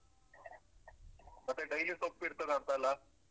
ಮತ್ತೆ daily ಸೊಪ್ಪಿರ್ತದಾಂತಲ್ಲ?